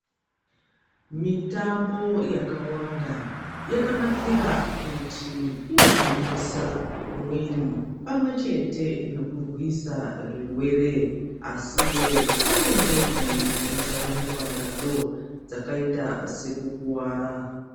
Mitambo yakawanda yakanakira kuti inogwinyisa mwiri pamwe chete nokurwisa zvirwere asiwo pane njodzi dzinosanganikwa nadzo dzakayita sekukuwara.